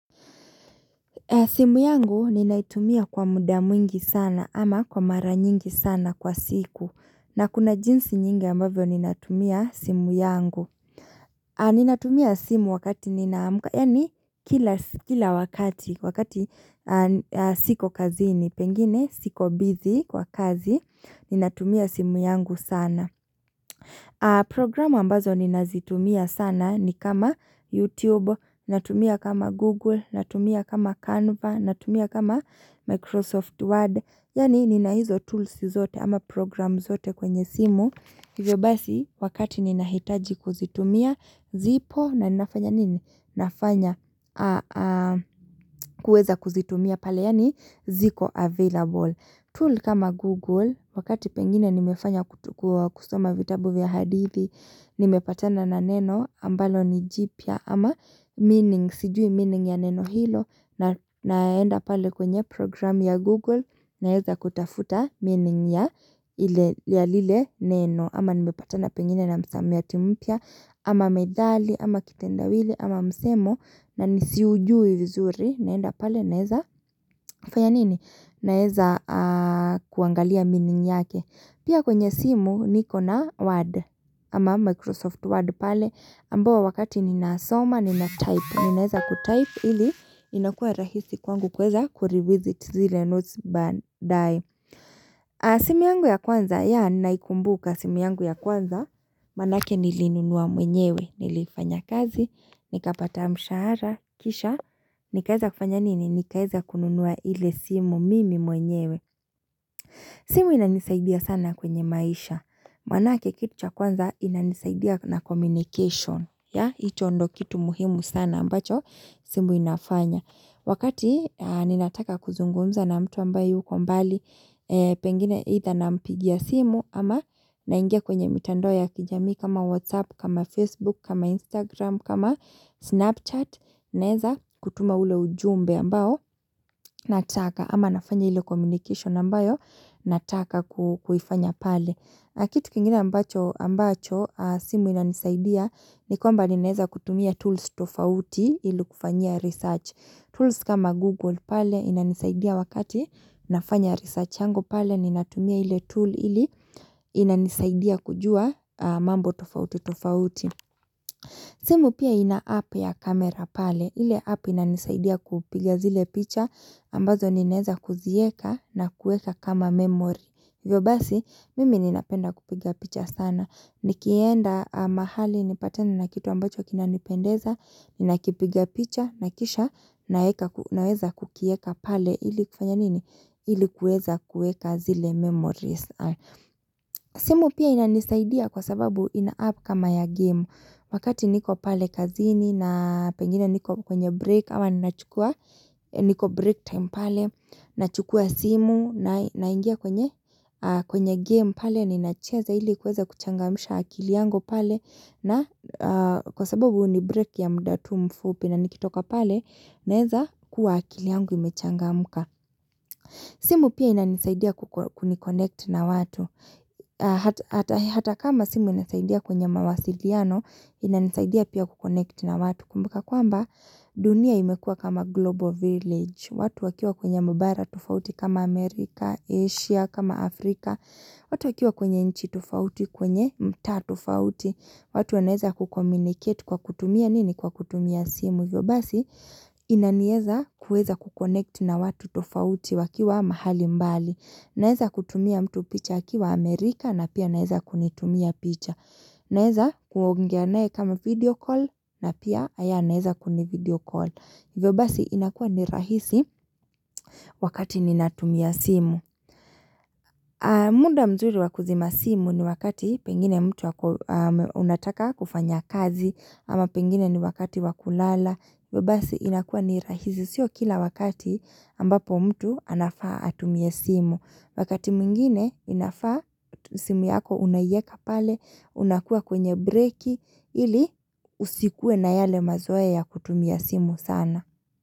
Simu yangu ninaitumia kwa muda mwingi sana ama kwa mara nyingi sana kwa siku na kuna jinsi nyingi ambavyo ninatumia simu yangu Ninatumia simu wakati ninaamka yaani kila wakati wakati siko kazi ni pengine siko busy kwa kazi ninatumia simu yangu sana Programu ambazo nina zitumia sana ni kama YouTube, natumia kama Google, natumia kama Canva, natumia kama Microsoft Word. Yaani nina hizo tools zote ama program zote kwenye simu. Hivyo basi wakati nina hitaji kuzitumia zipo na ninafanya nini? Nafanya kueza kuzitumia pale yaani ziko available. Tool kama Google, wakati pengine nimefanya kutukua kusoma vitabu vya hadithi, nimepatana na neno ambalo nijipya ama meaning, sijui meaning ya neno hilo, naenda pale kwenye program ya Google, naeza kutafuta meaning ya lile neno, ama nimepatana pengine na msamiati mpya, ama methali, ama kitendawili, ama msemo, na nisiujui vizuri, naenda pale, naeza fanya nini? Naeza kuangalia meaning yake Pia kwenye simu niko na word ama Microsoft word pale ambao wakati ninaasoma nina type Ninaeza kutype ili inakuwa rahisi kwangu kuweza kurevisit zile notes baadae simu yangu ya kwanza ya naikumbuka simu yangu ya kwanza Manake niliinunua mwenyewe nilifanya kazi nikapata mshahara kisha Nikaeza kufanya nini nikaeza kununua ile simu mimi mwenyewe simu inanisaidia sana kwenye maisha Manake kitu cha kwanza inanisaidia na communication hicho ndo kitu muhimu sana ambacho simu inafanya Wakati ninataka kuzungumza na mtu ambaye yuko mbali Pengine either na mpigia simu ama naingia kwenye mitandao ya kijamii kama whatsapp, kama facebook, kama instagram, kama snapchat Naeza kutuma ule ujumbe ambao nataka ama nafanya ile communication ambayo nataka kuhifanya pale Kitu kingine ambacho simu inanisaidia ni kwamba ni naeza kutumia tools tofauti ili kufanyia research tools kama google pale inanisaidia wakati nafanya research yangu pale ni natumia ile tool ili inanisaidia kujua mambo tofauti tofauti simu pia ina app ya camera pale. Ile app inanisaidia kupiga zile picha ambazo ninaeza kuzieka na kueka kama memory. hiVyo basi mimi ninapenda kupiga picha sana. Nikienda mahali nipatane na kitu ambacho kinanipendeza, ninakipiga picha na kisha naweza kukieka pale ili kufanya nini? Ili kueza kueka zile memory. Simu pia ina nisaidia kwa sababu ina app kama ya game Wakati niko pale kazini na pengine niko kwenye break ama niko break time pale Nachukua simu na ingia kwenye game pale ninacheza hili kuweza kuchangamsha akili yangu pale na kwa sababu ni break ya mda tu mfupi na nikitoka pale Naeza kuwa akili yangu imechangamka simu pia ina nisaidia kukuni connect na watu Hata kama simu inasaidia kwenye mawasiliano inasaidia pia kukonekti na watu kumbuka Kwa mba dunia imekua kama global village watu wakiwa kwenye mabara tofauti kama Amerika, Asia, kama Afrika watu wakiwa kwenye nchi tofauti kwenye mtaa tofauti watu wanaeza kukommuniket kwa kutumia nini kwa kutumia simu hivYobasi inanieza kueza kukonekti na watu tofauti wakiwa mahali mbali Naeza kutumia mtu picha akiwa Amerika na pia naeza kunitumia picha. Naeza kuongea naye kama video call na pia haya naeza kuni video call. hiVyobasi inakuwa ni rahisi wakati ninatumia simu. Muda mzuri wakuzima simu ni wakati pengine mtu unataka kufanya kazi ama pengine ni wakati wakulala. hiVyobasi inakuwa ni rahisi sio kila wakati ambapo mtu anafaa atumie simu. Wakati mwingine inafaa simu yako unaeka pale, unakuwa kwenye breaki ili usikuwe na yale mazoea ya kutumia simu sana.